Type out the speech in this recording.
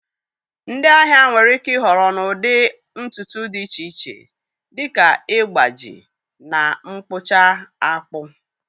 Ndị ahịa nwere ike ịhọrọ n'ụdị ntutu dị iche iche, dị ka ịgbaji, na mkpụcha akpụ.